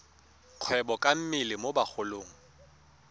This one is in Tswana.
kgwebo ka mmele mo bagolong